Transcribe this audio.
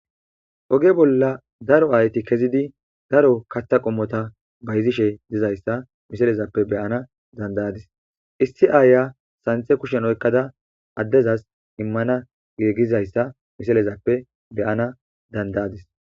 Oge bolla daro ayti kezidi daro kathta qommota bayzishe dizayssa misalezappe beyana dandayadis issi aaya santhe kushen oykkada addezas immana geegizayssa misalezappe beyana dandayadis.